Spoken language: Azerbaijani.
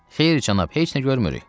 Xeyr, cənab, heç nə görmürük.